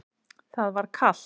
Það var kalt.